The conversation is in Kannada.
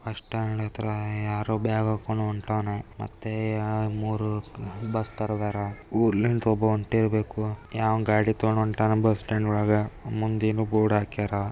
ಬಸ್ ಸ್ಟಾಂಡ್ ಅತ್ರ ಯಾರೋ ಬ್ಯಾಗ್ ಹಾಕೊಂಡು ಹೊಂಟನೆ ಮತ್ತೆ ಮೂರು ಬಸ್ ತರ ಊರಿಂದ ಹೊಂಟೀರಬೇಕು ಯಾವನೋ ಗಾಡಿ ತಗೊಂಡ್ ಹೊಂಟನೆ ಬಸ್ ಸ್ಟಾಂಡ್ ವೊಳಗೆ ಮುಂದೆ ಏನೋ ಬೋರ್ಡ್ ಆಕ್ಯಾರ.